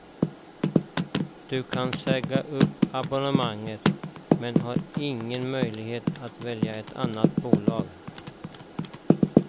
Du kan säga upp abonnemanget, men du har ingen möjlighet att välja ett annat bolag.